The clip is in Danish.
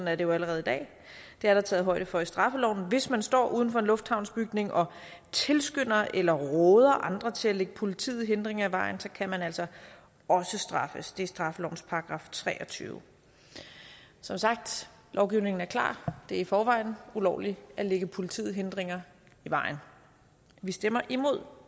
er det jo allerede i dag det er der taget højde for i straffeloven hvis man står uden for en lufthavnsbygning og tilskynder eller råder andre til at lægge politiet hindringer i vejen kan man altså også straffes det er straffelovens § treogtyvende som sagt lovgivningen er klar det er i forvejen ulovligt at lægge politiet hindringer i vejen vi stemmer imod